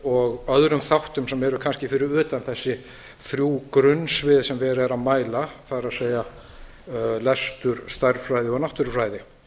og öðrum þáttum sem eru kannski fyrir utan þessi þrjú grunnsvið sem verið er að mæla það er lestur stærðfræði og náttúrufræði